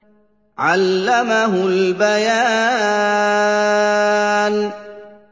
عَلَّمَهُ الْبَيَانَ